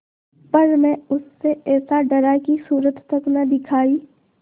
पर मैं उससे ऐसा डरा कि सूरत तक न दिखायी